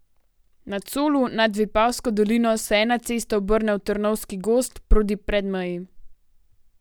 Na Colu nad Vipavsko dolino se ena cesta obrne v Trnovski gozd proti Predmeji.